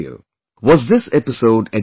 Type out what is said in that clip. Was this episode edited later